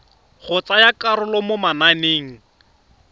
go tsaya karolo mo mananeng